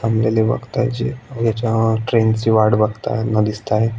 थांबलेले बघताय जे याच्या ट्रेन ची वाट बघताना दिसताएत.